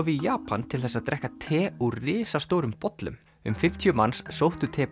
í Japan til þess að drekka te úr risastórum bollum um fimmtíu manns sóttu